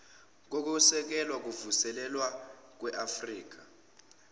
kokwesekelwa kokuvuselelwa kweafrika